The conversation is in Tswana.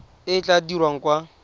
e e tla dirwang kwa